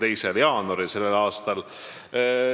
a, sellele arupärimisele vastas.